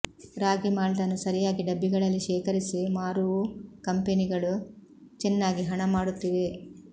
ರಾಗಿ ಮಾಲ್ಟನ್ನು ಸರಿಯಾಗಿ ಡಬ್ಬಿಗಳಲ್ಲಿ ಶೇಖರಿಸಿ ಮಾರುವು ಕಂಪೆನಿಗಳು ಚೆನ್ನಾಗಿ ಹಣ ಮಾಡುತ್ತಿವೆ